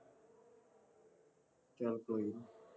ਚੱਲ ਕੋਈ ਨਹੀਂ